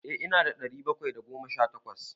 Eh ina da ɗari bakwai da goma sha takwas.